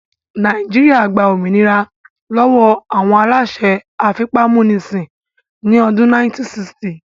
Nàìjíríyà gba òmìnira lọ́wọ́ àwọn aláṣẹ afipámúnisìn ní ọdún 1960